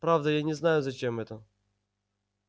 правда я не знаю зачем это